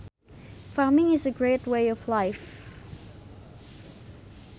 Farming is a great way of life